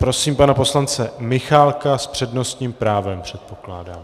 Prosím pana poslance Michálka - s přednostním právem předpokládám.